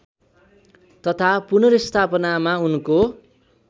तथा पुनर्स्थापनामा उनको